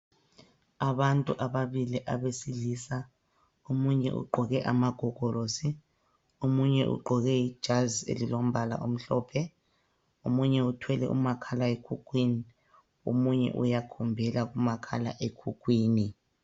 Abantu ababili abesilisa omunye ugqoke amagogorosi, omunye ugqoke ijazi elilombala omhlophe. Omunye uthwele umakhala ekhukhwini, omunye uyakhombela kumakhala ekhukhwini.